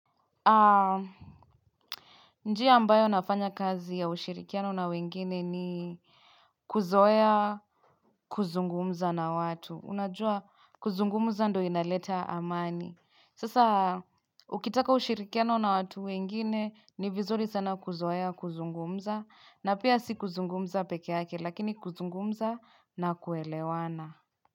Njia ambayo nafanya kazi ya ushirikiano na wengine ni kuzoea kuzungumza na watu. Unajua kuzungumza ndo inaleta amani. Sasa, ukitaka ushirikiano na watu wengine, ni vizuri sana kuzoea kuzungumza, na pia si kuzungumza pekee yake, lakini kuzungumza na kuelewana.